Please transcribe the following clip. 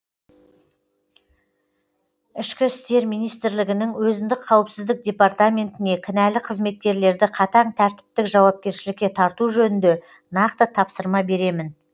ішкі істер министрлігінің өзіндік қауіпсіздік департаментіне кінәлі қызметкерлерді қатаң тәртіптік жауапкершілікке тарту жөнінде нақты тапсырма беремін